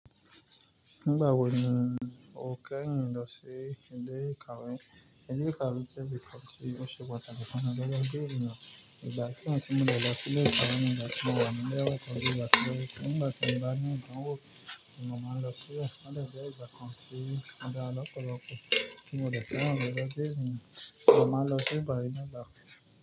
Nígbà wo ni o kẹ́yin lọ sí ilé ìkàwé? Ilé ìkàwé jẹ́ ibi kan tí ó ṣe pàtàkì fún ọmọ bi eniyan. Ìgbà kíwọ́n tí mo dẹ̀ lọ sí ilé ìkàwé nígbà tí mo wà nílé ọkọ mi nígbà tí mo bá ní ọdún, mo máa ń lọ sí ẹka ẹ̀kọ́ lágbèẹ́ ìgbà kan tí n dá ọkọ lọ kí mo dẹ̀ fẹ́ràn rẹ̀ lágbèẹ́ ìlú. Mo máa lọ sí ìpàdé náà lókù.